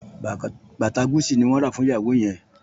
Bàtà Gucci ni wọ́n rà fún ìnáwó yẹn